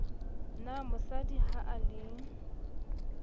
na mosadi ha e le